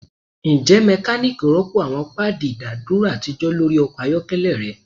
Njẹ mekaniki rọpo awọn paadi idaduro atijọ lori ọkọ ayọkẹlẹ rẹ